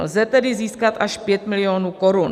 Lze tedy získat až 5 milionů korun.